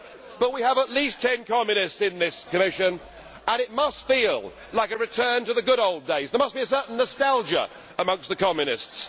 But we have at least 10 communists in this Commission and it must feel like a return to the good old days. There must be certain nostalgia amongst the communists.